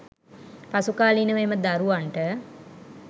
පසුකාලීනව එම දරුවන්ට